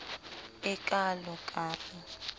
e kalo ka r e